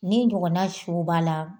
Nin su b'a la